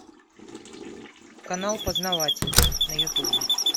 канал познаватель на ютубе